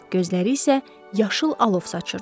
Gözləri isə yaşıl alov saçırdı.